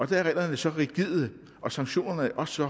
der er reglerne så rigide og sanktionerne også